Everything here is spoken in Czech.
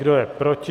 Kdo je proti?